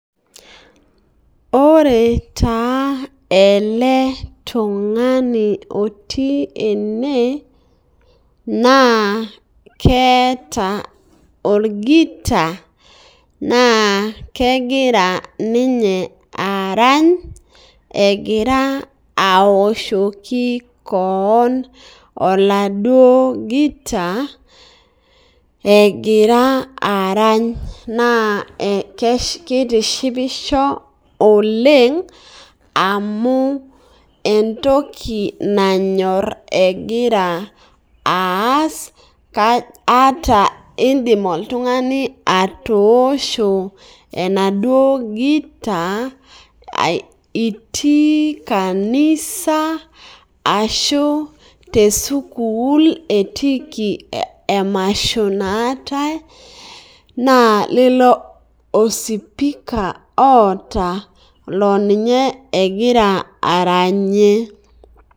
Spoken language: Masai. Ore taa eletungani otii ene na keeta orgita na kegira ninye arany alegira aoshoki keon oladuo gita egira arany na kitishipisho oleng amu entoki nanyor egira aas, indim oltungani atoosho enaduo gita itii kanisa ashu tesukul etiiki embae emasho naatae na lilo osipikaboota ma ninye egira aranyie